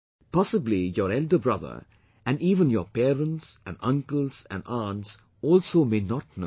Possibly your elder brother and even your parents and uncles and aunts also may not know